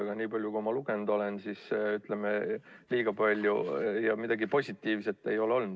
Aga nii palju, kui ma lugenud olen, liiga palju midagi positiivset ei ole olnud.